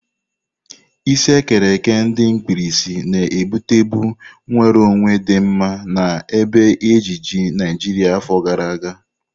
Isi ekere eke ndi mkpirisi na-ebutebu nwere onwe di mma na ebe ejiji Naijiria afọ gara aga.